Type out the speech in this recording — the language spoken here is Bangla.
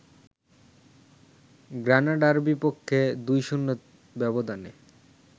গ্রানাডার বিপক্ষে ২-০ ব্যবধানে